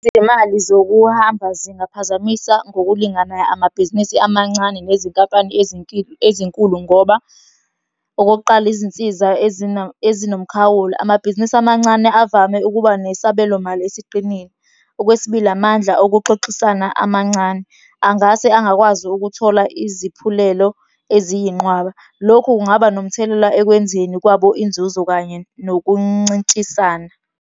Izimali zokuhamba zingaphazamisa ngokulinganayo amabhizinisi amancane nezinkampani ezinkulu ngoba, okokuqala izinsiza ezinomkhawula. Amabhizinisi amancane avame ukuba nesabelo mali esiqinile. Okwesibili, amandla okuxoxisana amancane, angase angakwazi ukuthola iziphulelo eziyinqwaba. Lokhu kungaba nomthelela ekwenzeni kwabo inzuzo kanye nokuncintshisana.